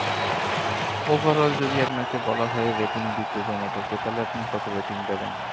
overall যদি আপনাকে বলা হয় rating দিতে zomato কে। তাহলে আপনি কত rating দেবেন?